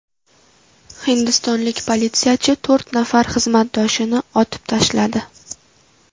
Hindistonlik politsiyachi to‘rt nafar xizmatdoshini otib tashladi.